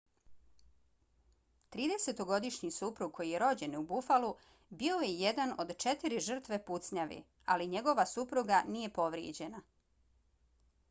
tridesetogodišnji suprug koji je rođen u buffalu bio je jedan od četiri žrtve pucnjave ali njegova supruga nije povrijeđena